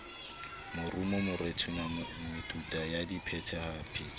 morumo morethetho metuta ya diphetapheto